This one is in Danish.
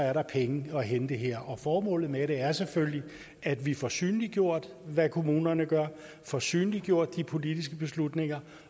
er der penge at hente her formålet med det er selvfølgelig at vi får synliggjort hvad kommunerne gør at vi får synliggjort de politiske beslutninger